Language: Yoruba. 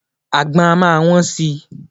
Àgbon á máa wón si.